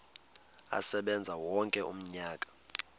asebenze wonke umnyaka